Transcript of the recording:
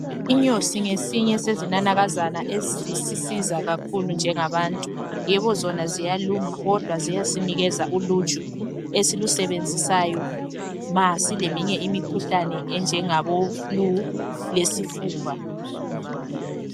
Inyosi ngesinye sezinanakazana ezisisiza kakhulu njengabantu yebo zona ziyaluma kodwa ziyasinikeza uluju esilusebenzisayo masileminye imikhuhlane enjengabo flue lesifuba